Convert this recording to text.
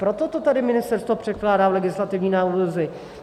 Proto to tady ministerstvo předkládá v legislativní nouzi.